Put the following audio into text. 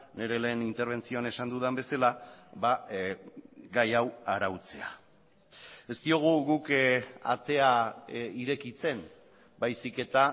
nire lehen interbentzioan esan dudan bezala gai hau arautzea ez diogu guk atea irekitzen baizik eta